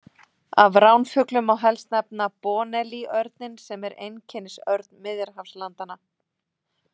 Af ránfuglum má helst nefna bonelli-örninn sem er einkennisörn Miðjarðarhafslandanna.